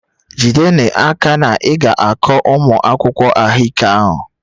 Jide n'aka na ị ga-akọ ụmụ akwụkwọ ahụike ahụ!